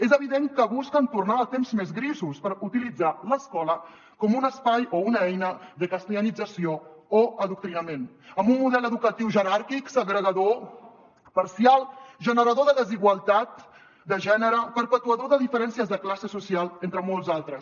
és evident que busquen tornar als temps més grisos per utilitzar l’escola com un espai o una eina de castellanització o adoctrinament amb un model educatiu jeràrquic segregador parcial generador de desigualtat de gènere perpetuador de diferències de classe social entre molts altres